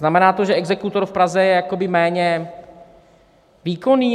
Znamená to, že exekutor v Praze je jakoby méně výkonný?